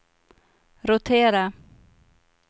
rotera